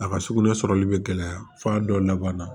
A ka sugunɛ sɔrɔli bɛ gɛlɛya f'a dɔ laban na